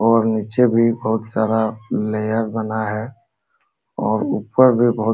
और नीचे भी बहुत सारा लेयर बना है और ऊपर भी बहुत --